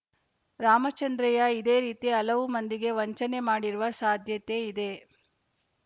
ರಾಮಚಂದ್ರಯ್ಯ ಇದೇ ರೀತಿ ಹಲವು ಮಂದಿಗೆ ವಂಚನೆ ಮಾಡಿರುವ ಸಾಧ್ಯತೆ ಇದೆ